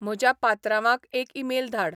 म्हज्या पात्रांवाक एक ईमेल धाड